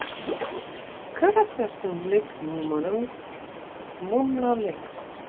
Hver af þessum leikmönnum mun ná lengst?